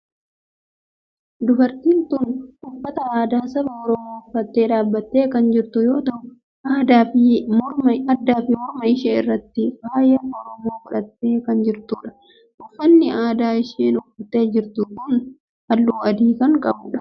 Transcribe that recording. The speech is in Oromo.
Dubartiin tun uffata aadaa saba oromoo uffattee dhaabbattee kan jirtu yoo ta'u addaa fi morma ishee irratti faaya oromoo godhattee kan jirtudha. uffanni aadaa isheen uffattee jirtu halluu adii kan ta'edha.